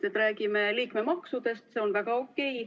Me räägime liikmemaksudest ja see on väga okei.